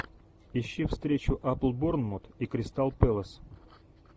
ищи встречу апл борнмут и кристал пэлас